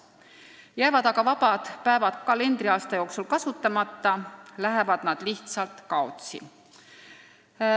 Kui need vabad päevad jäävad kalendriaasta jooksul kasutamata, lähevad need lihtsalt kaotsi.